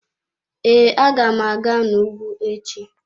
Ee, aga m aga n'ugwu echi.